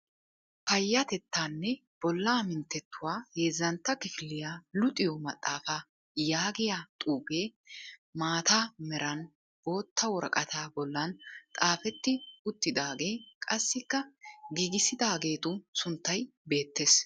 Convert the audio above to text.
"Payyatettaanne bollaa minttetuwa heezzantta kifiliya luxiyo maxxaafaa" yaagiya xuufee maata meran bootta woraqataa bollan xaafetti uttidaage qassikka giigissidaageetu sunttay beettes.